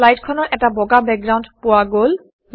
শ্লাইডখনৰ এটা বগা বেকগ্ৰাউণ্ড পোৱা গল